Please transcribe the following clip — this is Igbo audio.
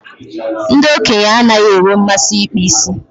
Ndị okenye anaghị enwe mmasị ịkpa isi.